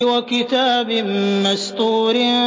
وَكِتَابٍ مَّسْطُورٍ